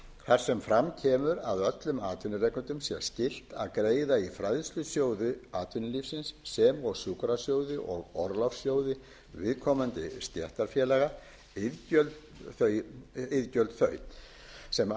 þar sem fram kemur að öllum atvinnurekendum sé skylt að greiða í fræðslusjóði atvinnulífsins sem og sjúkrasjóði og orlofssjóði viðkomandi stéttarfélaga iðgjöld þau sem